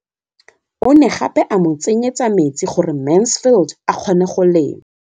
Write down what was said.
O ne gape a mo tsenyetsa metsi gore Mansfield a kgone go lema.